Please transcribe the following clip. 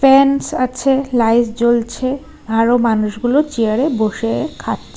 আছে লাইট জ্বলছে আরো মানুষগুলো চেয়ারে বসে খাচ্ছে।